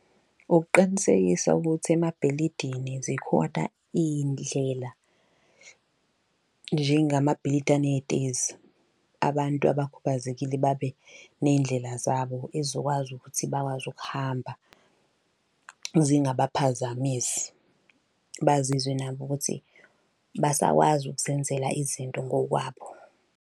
Ukuqinisekisa ukuthi emabhilidini zikhoda iy'ndlela njengamabhilidi aney'tezi. Abantu abakhubazekile babe ney'ndlela zabo ezokwazi ukuthi bakwazi ukuhamba zingabaphazamisi. Bazizwe nabo ukuthi basakwazi ukuzenzela izinto ngokwabo.